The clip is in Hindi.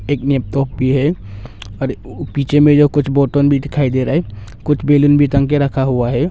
एक लैपटॉप भी है और पीछे में जो कुछ बोतल भी दिखाई दे रहा है कुछ बैलून भी टांग के रखा हुआ है।